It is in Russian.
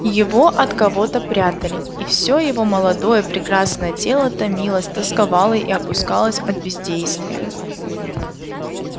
его от кого-то прятали и всё его молодое прекрасное тело томилось тосковало и опускалось от бездействия